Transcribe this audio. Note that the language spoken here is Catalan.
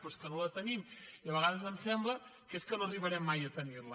però és que no la tenim i a vegades em sembla que no arribarem mai a tenir la